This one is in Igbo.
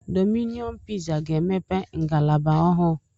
Domino piza ga-emepe ngalaba ọhụụ